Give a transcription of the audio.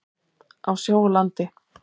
Á sjó og landi.